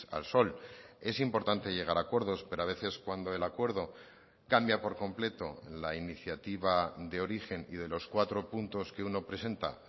al sol es importante llegar a acuerdos pero a veces cuando el acuerdo cambia por completo la iniciativa de origen y de los cuatro puntos que uno presenta